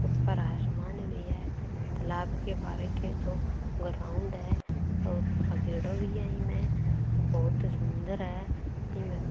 ऊपर आसमान भी है तालाब के बाहर के जो ग्राउंड है और भगेड़ो भी है इमे बहुत सुंदर है। इमे--